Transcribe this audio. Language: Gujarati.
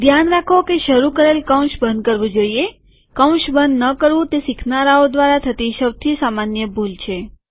ધ્યાન રાખો કે શરુ કરેલ કૌંસ બંધ થવું જોઈએ કૌંસ બંધ ન કરવું તે શીખનારાઓ દ્વારા થતી સૌથી સામાન્ય ભૂલ છે